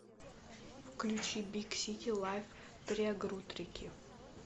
включи биг сити лайф триагрутрики